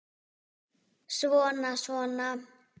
Svona. svona